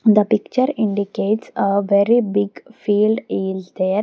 the picture indicates a very big field is there.